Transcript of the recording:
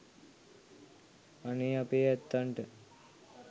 අනේ අපේ ඇත්තන්ට